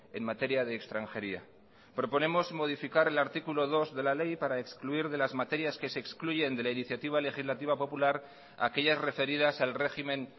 en materia de extranjería proponemos modificar el artículo dos de la ley para excluir de las materias que se excluyen de la iniciativa legislativa popular aquellas referidas al régimen